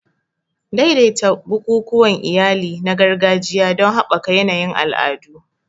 Daidaita bukukuwan iyali na gargajiya don haɓaka yanayin al'adu.